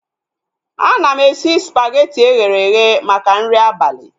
Ana m esi spageti eghere eghe maka nri abalị